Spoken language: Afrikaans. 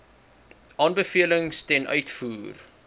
aanbevelings ten uitvoer